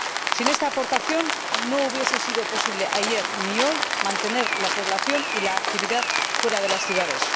Sin esta aportación no habría sido posible, ni ayer ni hoy, mantener la población y la actividad fuera de las ciudades.